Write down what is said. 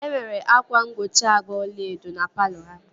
Enwere ákwà mgbochi agba ọlaedo na palọ ha